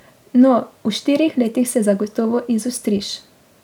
No, v štirih letih se zagotovo izostriš.